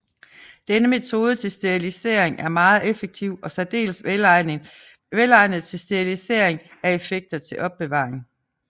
Denne metode til sterilisering er meget effektiv og særdeles velegnet til sterilisering af effekter til opbevaring